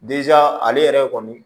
ale yɛrɛ kɔni